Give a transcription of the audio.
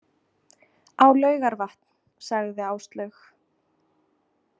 Á Laugarvatn, sagði Áslaug.